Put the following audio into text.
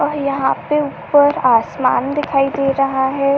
और यहाँ पे ऊपर आसमान दिखाई दे रहा है।